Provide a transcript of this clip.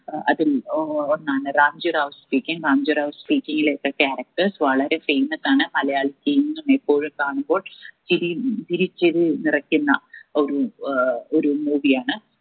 അതിൽ ഏർ ഒന്നാണ് രാംജി റാവു speaking രാംജി റാവു speaking ലെതെ character വളരെ famous ആണ് ഇപ്പോഴും കാണുമ്പോൾ ചിരിയും ചിരി ചിരി നിറക്കുന്ന ഒരു ഏർ ഒരു movie ആണ്